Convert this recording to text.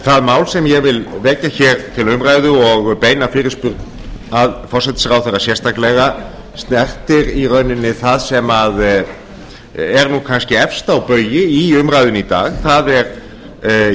það mál sem ég vil vekja til umræðu og beina fyrirspurn að forsætisráðherra sérstaklega snertir í rauninni það sem er kannski efst á baugi í umræðunni í dag það er